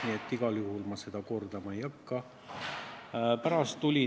Nii et ma seda igal juhul kordama ei hakka.